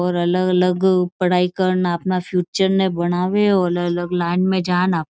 और अलग अलग पढ़ाई कर न अपना फ्यूचर ने बनावे और अलग अलग लाइन ने जान--